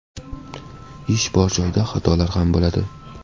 Ish bor joyda xatolar ham bo‘ladi.